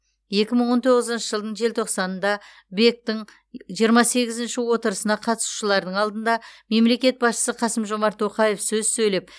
екі мың он тоғызыншы жылдың желтоқсанында бек тің жиырма сегізінші отырысына қатысушылардың алдында мемлекет басшысы қасым жомарт тоқаев сөз сөйлеп